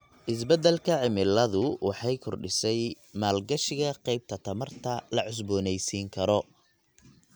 Isbeddelka cimiladu waxay kordhisay maalgashiga qaybta tamarta la cusboonaysiin karo.